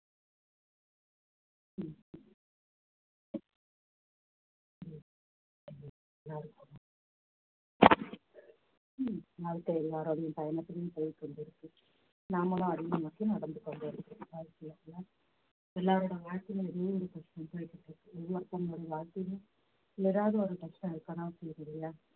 வாழ்க்கை எல்லாருடைய பயணத்திலும் போய்க்கொண்டிருக்கு நாமளும் நோக்கி நடந்து கொண்டு இருக்கிறோம் எல்லாருடைய வாழ்க்கையிலும் ஏதாவது ஒரு பிரச்சனை~ இருக்கு ஒவ்வொருத்தங்களோட வாழ்க்கையிலும் ஏதாவது பிரச்னை இருக்கத்தான் செய்யுது இல்லையா